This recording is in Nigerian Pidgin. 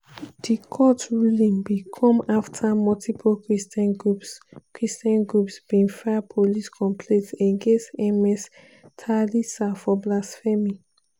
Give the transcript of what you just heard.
di court ruling bin come afta multiple christian groups christian groups bin file police complaints against ms thalisa for blasphemy.